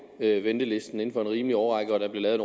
ventelisten inden for en rimelig årrække og der bliver lavet